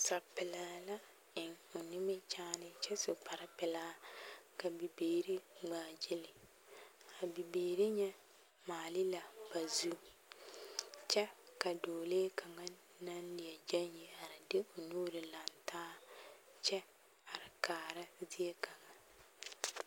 Nasapelaa la eŋ o nimikyaane kyɛ su o kpare pelaa ka bibiiri ŋmaa gili, a bibiiri nyɛ maale la ba zu kyɛ ka dɔɔlee kaŋa naŋ leɛ gyɛŋ yi are de o nuuri lantaa kyɛ are kaara zie kaŋa.